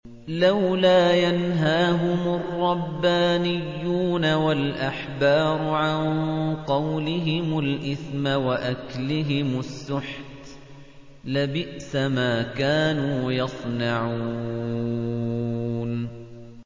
لَوْلَا يَنْهَاهُمُ الرَّبَّانِيُّونَ وَالْأَحْبَارُ عَن قَوْلِهِمُ الْإِثْمَ وَأَكْلِهِمُ السُّحْتَ ۚ لَبِئْسَ مَا كَانُوا يَصْنَعُونَ